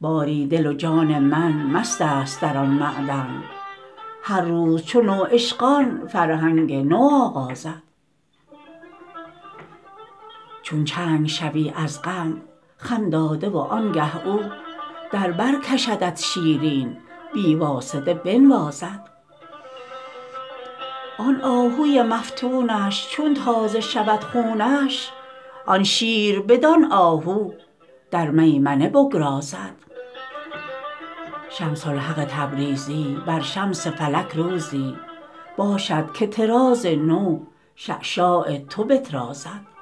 باری دل و جان من مستست در آن معدن هر روز چو نوعشقان فرهنگ نو آغازد چون چنگ شوی از غم خم داده وانگه او در بر کشدت شیرین بی واسطه بنوازد آن آهوی مفتونش چون تازه شود خونش آن شیر بدان آهو در میمنه بگرازد شمس الحق تبریزی بر شمس فلک روزی باشد که طراز نو شعشاع تو بطرازد